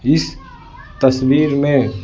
इस तस्वीर में--